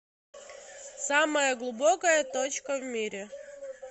самая глубокая точка в мире